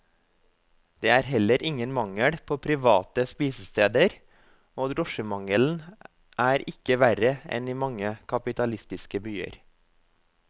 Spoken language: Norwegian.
Det er heller ingen mangel på private spisesteder, og drosjemangelen er ikke verre enn i mange kapitalistiske byer.